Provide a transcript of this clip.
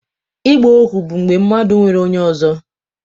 Ịgba ohu bụ mgbe mmadụ nwere onye ọzọ